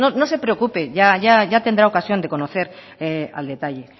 no se preocupe ya tendrá ocasión de conocer al detalle